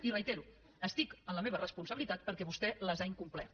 i ho reitero estic en la meva responsabilitat perquè vostè les ha incomplert